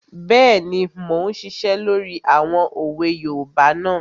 Bẹ́ẹ̀ni, mo n ṣiṣẹ́ lórí àwọn òwe yoòbá náà